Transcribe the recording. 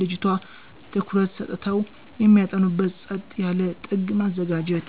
ልጅቱ/ቷ ትኩረት ሰጥተው የሚያጠኑበት ጸጥ ያለ ጥግ ማዘጋጀት።